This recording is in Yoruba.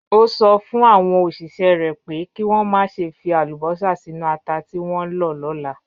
Ó sọ fún àwọn òṣìṣẹ́ rẹ̀ pé kí wọ́n má ṣe fi àlùbọ́sà sínú ata tí wọ́n ń lọ lọ́la.